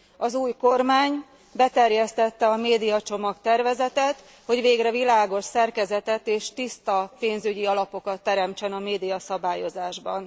Az új kormány beterjesztette a médiacsomag tervezetet, hogy végre világos szerkezetet és tiszta pénzügyi alapokat teremtsen a médiaszabályozásban.